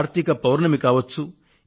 కార్తీక పౌర్ణమి కావచ్చు